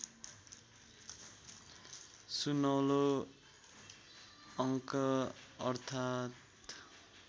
सुनौलो अङ्क अर्थात्